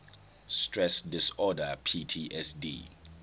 stress disorder ptsd